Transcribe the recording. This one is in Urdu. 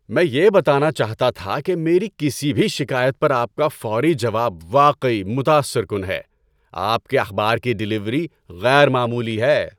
میں یہ بتانا چاہتا تھا کہ میری کسی بھی شکایت پر آپ کا فوری جواب واقعی متاثر کن ہے۔ آپ کے اخبار کی ڈلیوری غیر معمولی ہے۔